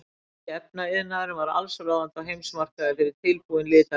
Þýski efnaiðnaðurinn var allsráðandi á heimsmarkaði fyrir tilbúin litarefni.